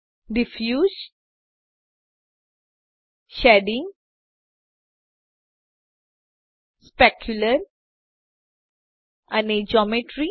diffuse shading specular અને geometry